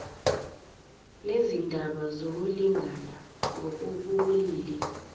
nezindaba zokulingana ngokobulili